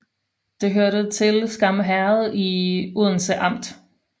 Det hørte til Skam Herred i Odense Amt